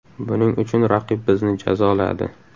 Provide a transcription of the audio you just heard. Buning uchun raqib bizni jazoladi.